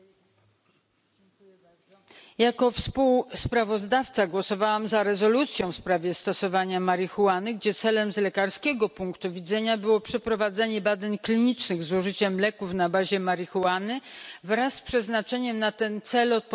Panie Przewodniczący! Jako współsprawozdawczyni głosowałam za rezolucją w sprawie stosowania marihuany, gdzie celem z lekarskiego punktu widzenia było przeprowadzenie badań klinicznych z użyciem leków na bazie marihuany wraz z przeznaczeniem na ten cel odpowiednich środków.